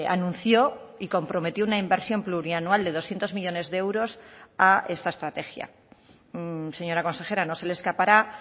anunció y comprometió una inversión plurianual de doscientos millónes de euros a esta estrategia señora consejera no se le escapará